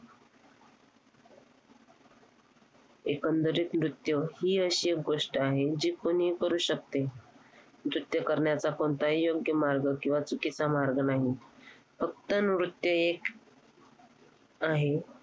एकंदरीत नृत्य हि एक गोष्ट आहे, जी कोणीही करू शकते. नृत्य करण्याचा कोणताही योग्य मार्ग किंवा चुकीचा मार्ग नाही. फक्त नृत्य एक आहे.